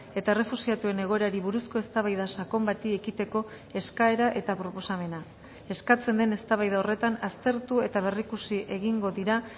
eta errefuxiatuen egoerari buruzko eztabaida sakon bati ekiteko eskaera eta proposamena eskatzen den eztabaida horretan aztertu eta berrikusi egingo dira